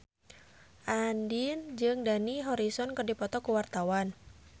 Andien jeung Dani Harrison keur dipoto ku wartawan